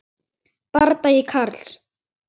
Bardagi Karls